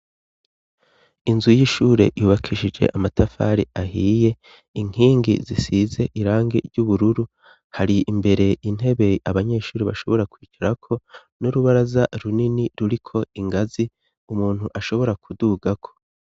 Inzu y'ishure yubakishije amatafari ahiye inkingi zisize irangi ry'ubururu hari imbere intebe abanyeshuri bashobora kwicarako n'urubaraza runini ruriko ingazi umuntu ashobora kudugako.